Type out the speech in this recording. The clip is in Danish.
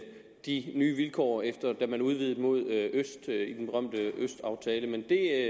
de nye vilkår efter at man udvidede mod øst i den berømte østaftale men det er